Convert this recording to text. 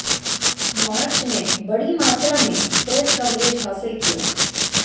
मार्च ने बड़ी मात्रा में प्रेस कवरेज हासिल किया